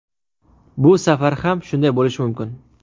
Bu safar ham shunday bo‘lishi mumkin.